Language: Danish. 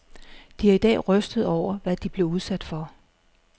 De er i dag rystede over, hvad de blev udsat for.